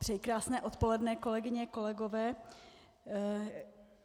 Přeji krásné odpoledne, kolegyně, kolegové.